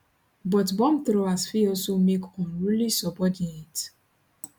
but bombthrowers fit also make unruly subordinates